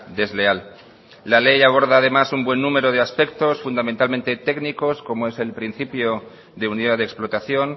desleal la ley aborda además un buen número de aspectos fundamentalmente técnicos como es el principio de unidad de explotación